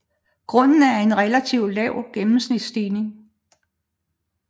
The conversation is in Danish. Grunden er en relativt lav gennemsnitsstigning